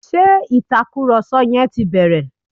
Ṣé Ìtàkùrọ̀sọ yẹn ti bẹ̀rẹ̀?